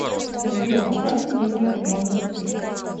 сбер отправьте деньги как можно быстрее